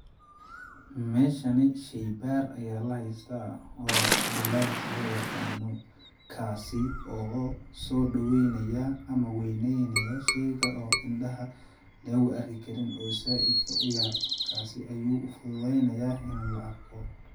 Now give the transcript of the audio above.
Meeshani sheybaar ayaa la heystaa oo lens loo yaqaano ,kaasi oo soo dhaweynaya ama weeyneynaya sheyga oo indhaha lagu arki karin oo saaidka u yar ,kaasi ayuu u fududeey nayaa in la arko.